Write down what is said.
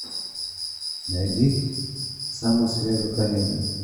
найди самую свежую комедию